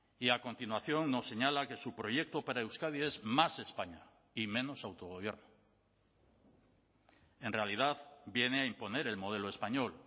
y a continuación nos señala que su proyecto para euskadi es más españa y menos autogobierno en realidad viene a imponer el modelo español